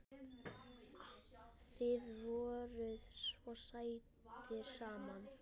Þið voruð svo sætir saman.